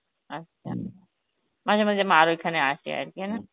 আচ্ছা, মাঝে মাঝে মার ঐখানে আসে আরকি